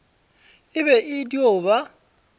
e be e dio ba